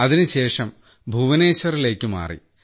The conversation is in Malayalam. അതിനുശേഷം ഭുവനേശ്വറിലേക്ക് മാറി